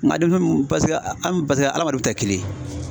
Nka demisɛnniw ,paseke adamadenw tɛ kelen ye.